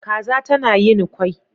Kaza tana yin kwai